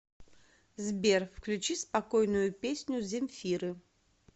сбер включи спокойную песню земфиры